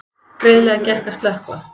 Greiðlega gekk að slökkva